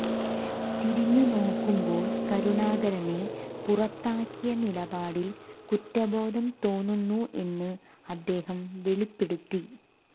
തിരിഞ്ഞുനോക്കുമ്പോൾ കരുണാകരനെ പുറത്താക്കിയ നിലപാടിൽ കുറ്റബോധം തോന്നുന്നു എന്ന് അദ്ദേഹം വെളിപ്പെടുത്തി